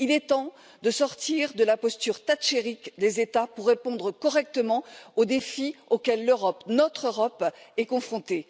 Il est temps de sortir de la posture thatchérienne des États pour relever comme il se doit les défis auxquels l'Europe, notre Europe, est confrontée.